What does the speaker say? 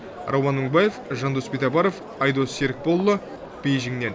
рауан мыңбаев жандос битабаров айдос серікболұлы бейжіннен